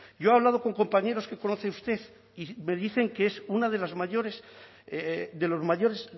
yo he hablado con compañeros que conoce usted y me dicen que es una de las mayores de los mayores